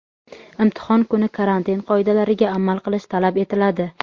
Imtihon kuni karantin qoidalariga amal qilish talab etiladi.